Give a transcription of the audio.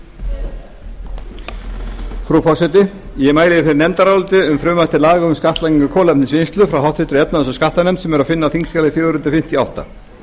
efnahags og skattanefnd um frumvarp til laga um skattlagningu kolvetnisvinnslu en það er að finna á þingskjali fjögur hundruð fimmtíu og átta